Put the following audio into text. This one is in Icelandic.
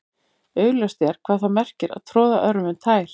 augljóst er hvað það merkir að troða öðrum um tær